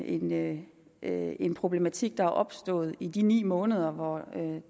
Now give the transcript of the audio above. ikke er en problematik der er opstået i de ni måneder hvor